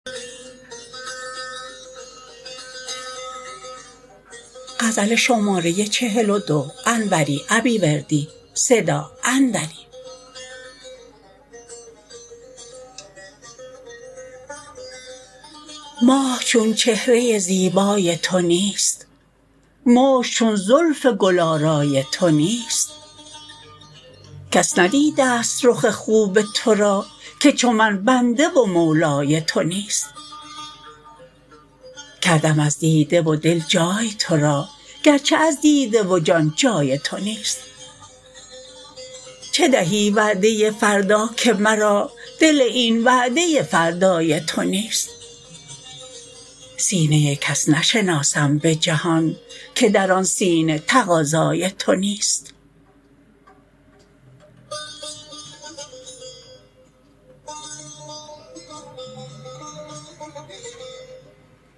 ماه چون چهره زیبای تو نیست مشک چون زلف گل آرای تو نیست کس ندیدست رخ خوب ترا که چو من بنده و مولای تو نیست کردم از دیده و دل جای ترا گرچه از دیده و جان جای تو نیست چه دهی وعده فردا که مرا دل این وعده فردای تو نیست سینه کس نشناسم به جهان که در آن سینه تقاضای تو نیست